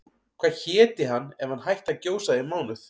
Hvað héti hann ef hann hætti að gjósa í mánuð?